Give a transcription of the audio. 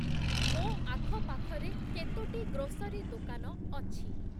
ମୋ ଆଖପାଖରେ କେତୋଟି ଗ୍ରୋସରୀ ଦୋକାନ ଅଛି ?